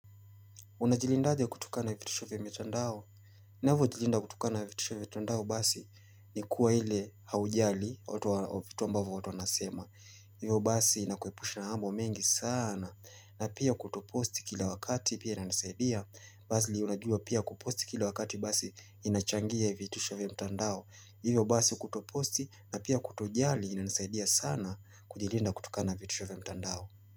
Unajilindaje kutokana na vitisho vya mtandao? Unavyojilinda kutokana na vitisho vya mtandao basi ni kweli haujali vitu ambavyo watu wanasema. Hivyo basi inakuepusha mambo mengi sana na pia kutoposti kila wakati pia inanisaidia. Basi unajua pia kuposti kila wakati basi inachangia vitisho vya mtandao. Hivyo basi kutoposti na pia kutujali inanisaidia sana kujilinda kutokana na vitisho vya mtandao.